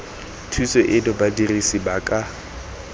thuso eno badirisi ba ka